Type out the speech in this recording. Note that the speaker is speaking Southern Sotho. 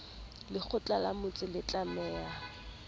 lekgotla la motse le tlameha